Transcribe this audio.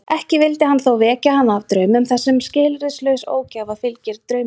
Ekki vildi hann þó vekja hana af draumum þessum því skilyrðislaus ógæfa fylgir draumrofi.